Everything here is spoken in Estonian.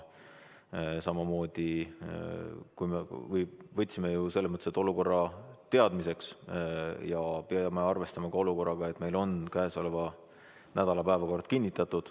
Võtsime olukorra teadmiseks, aga peame arvestama sellega, et meil on ju käesoleva nädala päevakord kinnitatud.